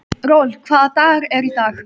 Rolf, hvaða dagur er í dag?